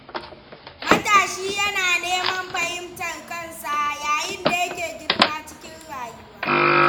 Matashi yana neman fahimtar kansa yayin da yake girma cikin rayuwa.